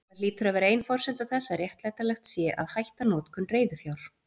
Það hlýtur að vera ein forsenda þess að réttlætanlegt sé að hætta notkun reiðufjár.